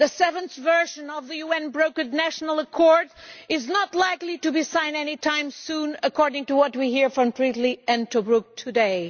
The seventh version of the UN brokered national accord is not likely to be signed any time soon, according to what we hear in Tripoli and Tobruk today.